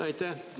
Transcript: Aitäh!